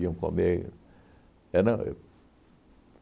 iam comer. Era